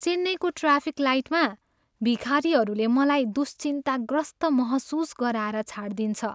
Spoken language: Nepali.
चेन्नईको ट्राफिक लाइटमा भिखारीहरूले मलाई दुश्चिन्ताग्रस्त महसुस गराएर छाडदिन्छ।